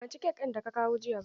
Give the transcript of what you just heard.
Ban ci kek ɗin da ka kawo jiya ba.